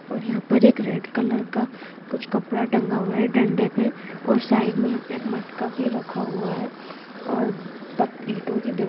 और यहां पे रेड कॉलर का कुछ कपड़ा टांगा हुआ हैडंडे पे और साईड पे यह एक मटका भी रखा हुआ है और प ईट ओ की--